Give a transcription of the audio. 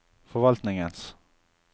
forvaltningens